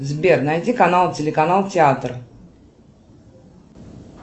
сбер найди канал телеканал театр